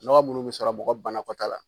Nɔgɔ minnu bɛ sɔrɔ mɔgɔ banakɔtaa la.